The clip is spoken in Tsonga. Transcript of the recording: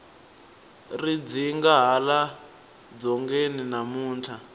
ri dzinda hala dzongeni namuntlha